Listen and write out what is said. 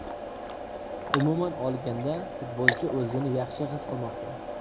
Umuman olganda futbolchi o‘zini yaxshi his qilmoqda.